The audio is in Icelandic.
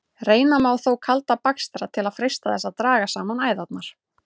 Reyna má þó kalda bakstra til að freista þess að draga saman æðarnar.